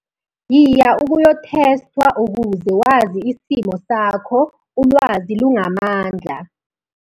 Yiya ukuthesthwa ukuze wazi isimo sakho, "Ulwazi lungamandla".